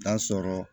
N'a sɔrɔ